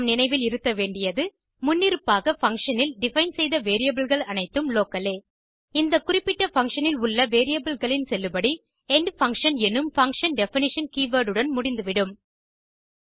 நாம் நினைவில் இருத்த வேண்டியது முன்னிருப்பாக பங்ஷன் இல் டிஃபைன் செய்த variableகள் அனைத்தும் லோக்கல் லே இந்த குறிப்பிட்ட பங்ஷன் இல் உள்ள வேரியபிள் களின் செல்லுபடி எண்ட்ஃபங்க்ஷன் என்னும் பங்ஷன் டெஃபினிஷன் கீவர்ட் உடன் முடிந்துவிடும்